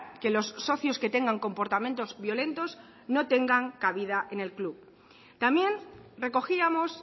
que los socios que tengan comportamientos violentos no tengan cabida en el club también recogíamos